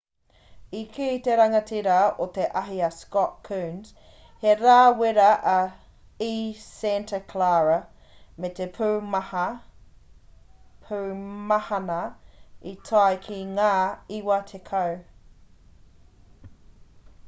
i kī te rangatira o te ahi a scott kouns he rā wera i santa clara me te pūmahana i tae ki ngā 90